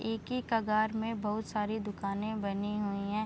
एक ही कगार में बहुत सारी दुकाने बनी हुई हैं।